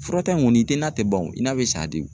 Furata in kɔni i tɛ na tɛ ban o n'a bɛ sa de o